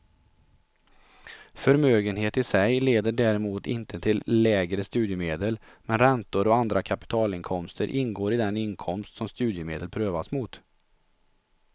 Förmögenhet i sig leder däremot inte till lägre studiemedel, men räntor och andra kapitalinkomster ingår i den inkomst som studiemedel prövas mot.